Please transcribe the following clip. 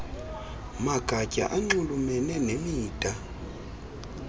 magatya anxulumene nemida